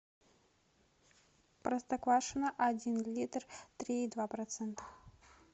простоквашино один литр три и два процента